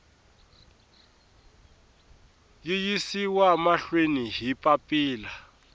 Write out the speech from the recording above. yi yisiwa mahlweni hi papila